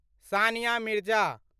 Sania Mirza